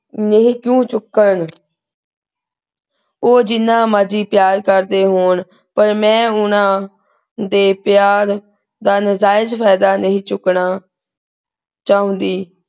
ਨੀ ਕਿਉਂ ਚੁੱਕਣ ਉਹ ਜਿੰਨਾ ਮਰਜੀ ਪਿਆਰ ਕਰਦੇ ਹੋਣ ਪਰ ਮੈਂ ਉਹਨਾਂ ਦੇ ਪਿਆਰ ਦਾ ਨਜਾਇਜ ਫਾਇਦਾ ਨਹੀਂ ਚੁੱਕਣਾ ਚਾਹੁੰਦੀ।